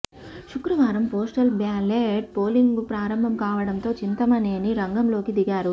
శుక్రవారం postal ballot polling ప్రారంభం కావడంతో చింతమనేని రంగంలోకి దిగారు